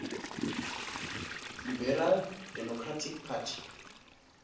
liberal democratic party